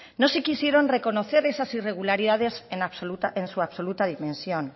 no se quisieron reconocer esas irregularidades en su absoluta dimensión